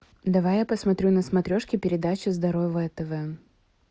давай я посмотрю на смотрешке передачу здоровое тв